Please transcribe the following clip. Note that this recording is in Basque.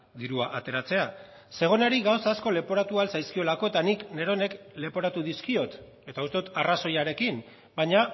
dirua ateratzea zegonari gauza asko leporatu ahal zaizkiolako eta nik neronek leporatu dizkiot eta uste dut arrazoiarekin baina